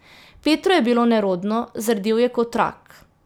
Petru je bilo nerodno, zardel je kot rak.